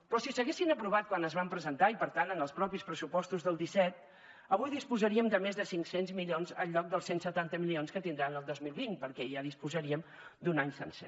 però si s’haguessin aprovat quan es van presentar i per tant en els mateixos pressupostos del disset avui disposarem de més de cinc cents milions en lloc dels cent i setanta milions que tindran el dos mil vint perquè ja disposarien d’un any sencer